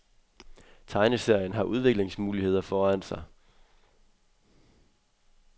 Tegneserien har udviklingsmuligheder foran sig.